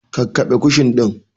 Kakkaɓe kushin ɗin!